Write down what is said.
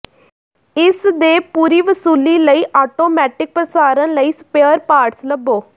ਇਸ ਦੇ ਪੂਰੀ ਵਸੂਲੀ ਲਈ ਆਟੋਮੈਟਿਕ ਪ੍ਰਸਾਰਣ ਲਈ ਸਪੇਅਰ ਪਾਰਟਸ ਲੱਭੋ